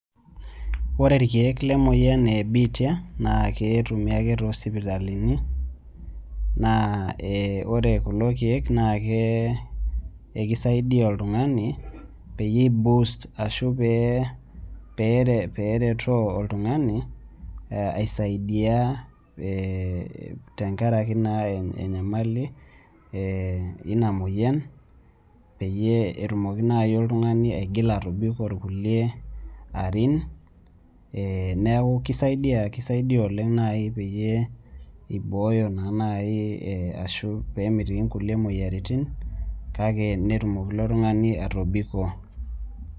Ore irkeek lemoyian ebiitia, naa ketumi ake tosipitalini, naa ore kulo keek naake ekisaidia oltung'ani, peyie i boost ashu pee peretoo oltung'ani, aisaidia tenkaraki naa enyamali ina moyian, peyie etumoki nai oltung'ani agila atobiko irkulie arin, neeku kisaidia oleng nai peyie ibooyo naa nai ashu pemitiki inkulie moyiaritin, kake netumoki ilo tung'ani atobiko.